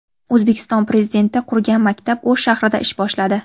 O‘zbekiston Prezidenti qurgan maktab O‘sh shahrida ish boshladi .